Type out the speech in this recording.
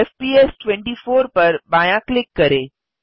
FPS 24 पर बायाँ click करें